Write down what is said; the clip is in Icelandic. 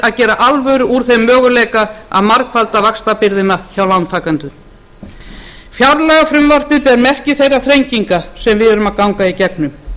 að gera alvöru úr þeim möguleika að margfalda vaxtabyrðina hjá lántakendum fjárlagafrumvarpið ber merki þeirra þrenginga sem við erum að ganga í gegnum